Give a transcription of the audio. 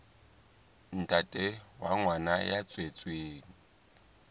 ntate wa ngwana ya tswetsweng